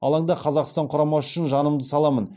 алаңда қазақстан құрамасы үшін жанымды саламын